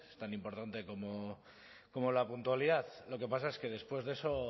tan importante como la puntualidad lo que pasa es que después de eso